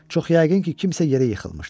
Çox yəqin ki, kimsə yerə yıxılmışdı.